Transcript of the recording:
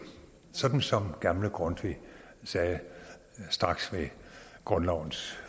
sådan som gamle grundtvig sagde straks ved grundlovens